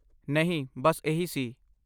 ਨਹੀਂ, ਬਸ ਇਹੀ ਸੀ।